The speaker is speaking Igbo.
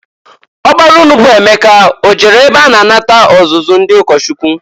Ọkpara unu bụ Emeka o jere ebe a na-anata ọzụzụ ndị ụkọchukwu?